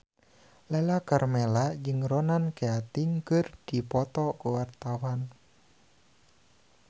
Lala Karmela jeung Ronan Keating keur dipoto ku wartawan